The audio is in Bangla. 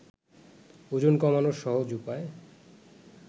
ওজন কমানোর সহজ উপায়